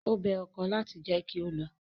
Ó bẹ ọkọ láti jẹ́ kí ó lọ.